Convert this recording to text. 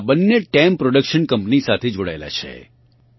આ બંને team production company સાથે જોડાયેલા છે